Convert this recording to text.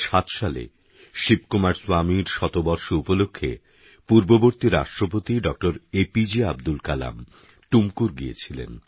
২০০৭ সালে শিবকুমার স্বামীর শতবর্ষ উপলক্ষে পূর্ববর্তী রাষ্ট্রপতি ডঃ A P J Abdul Kalam Tumkur গিয়েছিলেন